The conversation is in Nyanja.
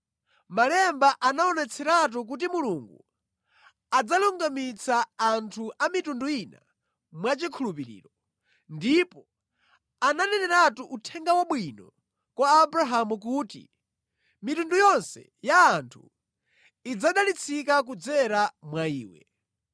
Malemba anaonetseratu kuti Mulungu adzalungamitsa anthu a mitundu ina mwachikhulupiriro, ndipo ananeneratu Uthenga Wabwino kwa Abrahamu kuti, “Mitundu yonse ya anthu idzadalitsika kudzera mwa iwe.”